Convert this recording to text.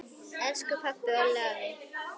Elsku pabbi, Olli, afi.